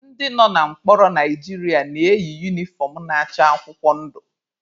Ndị nọ na mkpọrọ Naijiria na-eyi unifọm na-acha akwụkwọ ndụ.